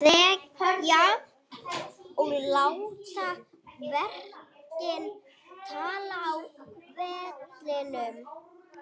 Ég þarf að þegja og láta verkin tala á velinum.